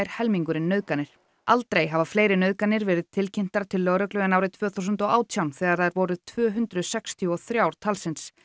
helmingurinn nauðganir aldrei hafa fleiri nauðganir verið tilkynntar til lögreglu en árið tvö þúsund og átján þegar þær voru tvö hundruð sextíu og þrjú talsins